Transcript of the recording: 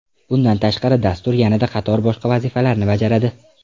Bundan tashqari, dastur yana qator boshqa vazifalarni bajaradi.